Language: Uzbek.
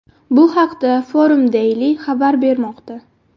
Bu haqda Forum Daily xabar bermoqda .